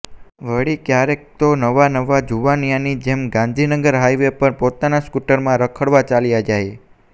વળી ક્યારેક તો નવા નવા જુવાનિયાની જેમ ગાંધીનગર હાઈવે પર પોતાના સ્કુટરમાં રખડવા ચાલ્યા જાય